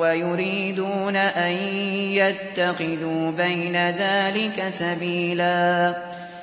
وَيُرِيدُونَ أَن يَتَّخِذُوا بَيْنَ ذَٰلِكَ سَبِيلًا